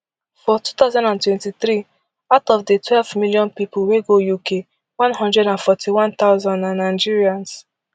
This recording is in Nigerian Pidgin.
for two thousand and twenty-three out of di twelvemillion pipo wey go uk one hundred and forty-one thousand na nigerians